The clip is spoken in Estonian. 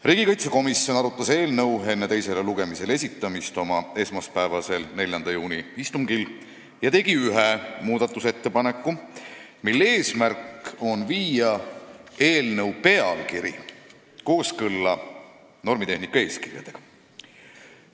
Riigikaitsekomisjon arutas eelnõu enne teisele lugemisele esitamist oma esmaspäevasel, 4. juuni istungil ja tegi ühe muudatusettepaneku, mille eesmärk on viia eelnõu pealkiri kooskõlla normitehnika eeskirjaga.